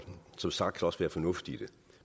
som sagt også være fornuft i det